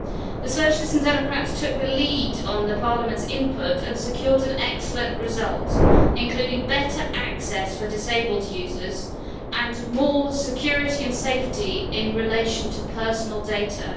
The Socialists and Democrats took the lead on Parliament's input and secured an excellent result, including better access for disabled users and more security and safety in relation to personal data.